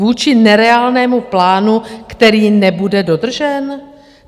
Vůči nereálnému plánu, který nebude dodržen?